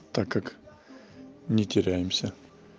так как не теряемся